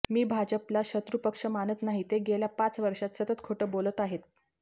मी भाजपला शत्रुपक्ष मानत नाही ते गेल्या पाच वर्षात सतत खोटं बोलत आहेत